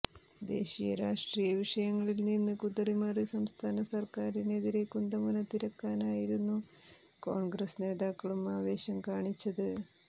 ദേശീയരാഷ്ട്രീയ വിഷയങ്ങളിൽനിന്ന് കുതറി മാറി സംസ്ഥാന സർക്കാരിനെതിരെ കുന്തമുന തിരിക്കാനായിരുന്നു കോൺഗ്രസ് നേതാക്കളും ആവേശം കാണിച്ചത്